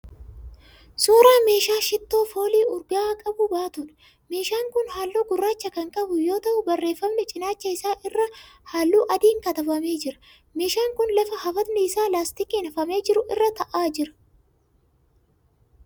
Suuraa meeshaa shittoo foolii urga'aa qabu baatuudha. meeshaan kun halluu gurraacha kan qabu yoo ta'u barreeffamni cinaacha isaa irraa halluu adiin katabamee jira. Meeshaan kun lafa hafatni isaa laastikiin hafamee jiru irra ta'aa jira.